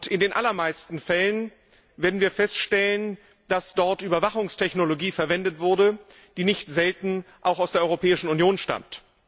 In den allermeisten Fällen werden wir feststellen, dass dort Überwachungstechnologie verwendet wurde, die nicht selten auch aus der Europäischen Union stammt.